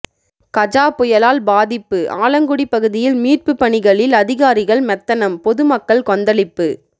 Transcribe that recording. கஜா புயலால் பாதிப்பு ஆலங்குடி பகுதியில் மீட்பு பணிகளில் அதிகாரிகள் மெத்தனம் பொதுமக்கள் கொந்தளிப்பு